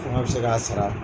bɛ se k'a sara.